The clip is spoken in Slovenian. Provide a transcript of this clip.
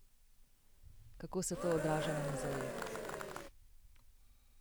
Kako se to odraža na muzejih?